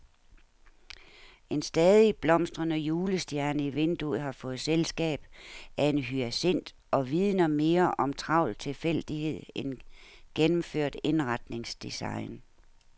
En stadig blomstrende julestjerne i vinduet har fået selskab af en hyacint og vidner mere om travl tilfældighed end gennemført indretningsdesign.